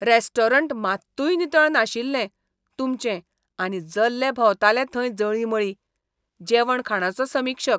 Restaurant मात्तूय नितळ नाशिल्लें तुमचें आनी जल्ले भोंवताले थंय जळींमळीं. जेवण खाणाचो समीक्षक